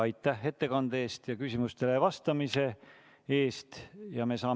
Aitäh ettekande eest ja küsimustele vastamise eest!